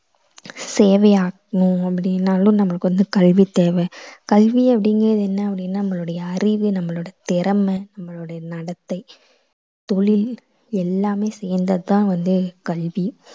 சேவை ஆற்றணும் அப்படின்னாலும் நமக்கு வந்து கல்வி தேவை. கல்வி அப்படிங்குறது என்ன அப்படின்னா நம்மளுடைய அறிவு, நம்மளோட திறமை, நம்மளுடைய நடத்தை, தொழில் எல்லாமே சேர்ந்தது தான் வந்து கல்வி.